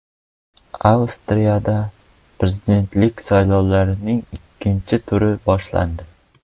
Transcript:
Avstriyada prezidentlik saylovlarining ikkinchi turi boshlandi.